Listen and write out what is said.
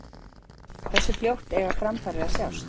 Hversu fljótt eiga framfarir að sjást?